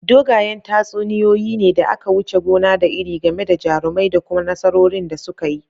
Dogayen tatsuniyoyi ne da aka wuce gona da iri game da jarumai da kuma nasarorin da suka yi.